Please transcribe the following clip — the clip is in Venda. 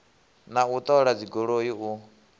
na u ṱola dzigoloi u